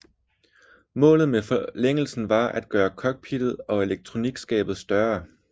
Målet med forlængelsen var at gøre cockpittet og elektronikskabet større